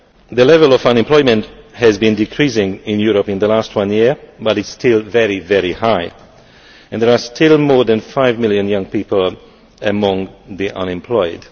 The level of unemployment has been decreasing in Europe in the last year, but it is still very high, and there are still more than 5 million young people among the unemployed.